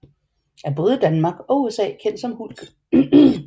Er i både Danmark og USA kendt som Hulk